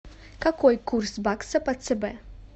какой курс бакса по цб